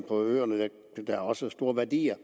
på øerne men der er også store værdier